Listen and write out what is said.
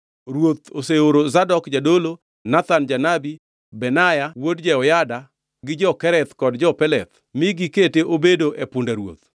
Ruoth oseoro Zadok jadolo, Nathan janabi, Benaya wuod Jehoyada, gi jo-Kereth kod jo-Peleth mi gikete obedo e punda ruoth,